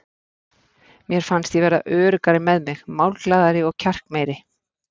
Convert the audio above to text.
Mér fannst ég verða öruggari með mig, málglaðari og kjarkmeiri.